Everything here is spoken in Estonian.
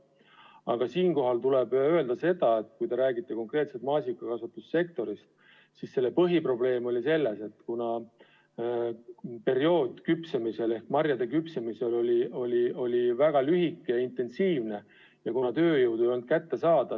Aga siinkohal tuleb öelda seda, et kui te räägite konkreetselt maasikakasvatussektorist, siis selle põhiprobleem oli mullu selles, et marjade küpsemise periood oli väga lühike, aga tööjõud ei olnud kättesaadav.